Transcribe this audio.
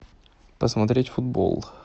посмотреть футбол